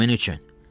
Kimin üçün?